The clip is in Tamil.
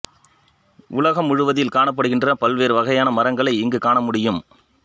உலகம் முழுவதில் காணப்படுகின்ற பல்வேறு வகையான மரங்களை இங்கு காணமுடியும்